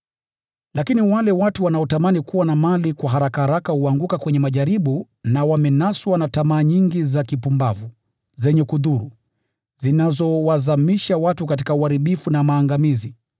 Lakini wale watu wanaotamani kuwa na mali kwa haraka huanguka kwenye majaribu, na wamenaswa na tamaa nyingi za kipumbavu zenye kudhuru, zinazowazamisha watu katika uharibifu na maangamizi.